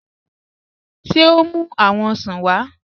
Ṣé o mú awọn òṣàn wa?